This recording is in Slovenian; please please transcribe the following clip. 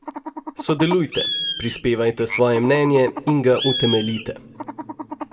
Sodelujte, prispevajte svoje mnenje in ga utemeljite.